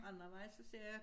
Anden vej så ser jeg